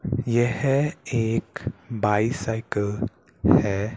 यह एक बाईसाइकिल है।